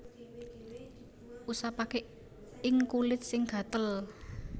Usapaké ing kulit sing gatel